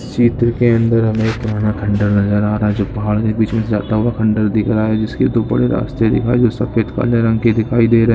इसके अंदर हम एक पुराना खड्डा नजर आ रहा है जो पहाड़ के बीच में से जाता हुआ अंडर दिख रहा है जिसके दो बड़े रास्ते दिख रहा है जो सफेद काले रंग के दिखाई दे रहे है।